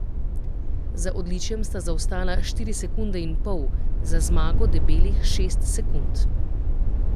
Za odličjem sta zaostala štiri sekunde in pol, za zmago debelih šest sekund.